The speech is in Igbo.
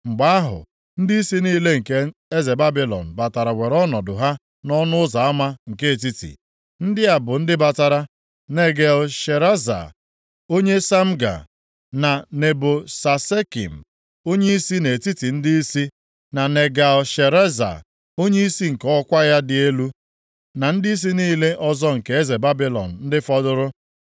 Mgbe ahụ, ndịisi niile nke eze Babilọn batara were ọnọdụ ha nʼọnụ ụzọ ama nke Etiti. Ndị a bụ ndị batara: Negal-Shareza onye Samga, na Nebo-Sasekim, onyeisi nʼetiti ndịisi, na Negal-Shareza onyeisi nke ọkwa ya dị elu, na ndịisi niile ọzọ nke eze Babilọn ndị fọdụrụ.